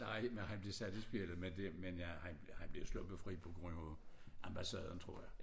Nej men han blev sat i spjældet men det men jeg han han bliver sluppet fri på grund af ambassaden tror jeg